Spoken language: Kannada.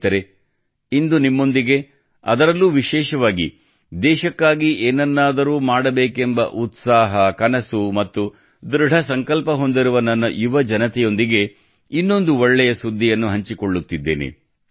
ಸ್ನೇಹಿತರೇ ಇಂದು ನಿಮ್ಮೊಂದಿಗೆ ಅದರಲ್ಲೂ ವಿಶೇಷವಾಗಿ ದೇಶಕ್ಕಾಗಿ ಏನನ್ನಾದರೂ ಮಾಡಬೇಕೆಂಬ ಉತ್ಸಾಹ ಕನಸು ಮತ್ತು ದೃಢಸಂಕಲ್ಪ ಹೊಂದಿರುವ ನನ್ನ ಯುವಜನತೆಯೊಂದಿಗೆ ಇನ್ನೊಂದು ಒಳ್ಳೆಯ ಸುದ್ದಿಯನ್ನು ಹಂಚಿಕೊಳ್ಳುತ್ತಿದ್ದೇನೆ